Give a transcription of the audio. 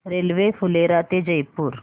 railway Phulera ते जयपूर